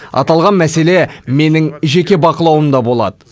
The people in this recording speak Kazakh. аталған мәселе менің жеке бақылауымда болады